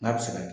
N'a bɛ se ka kɛ